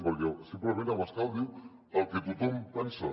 perquè simplement abascal diu el que tothom pensa